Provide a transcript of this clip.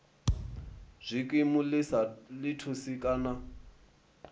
zwikimu ḽi sa thusi kana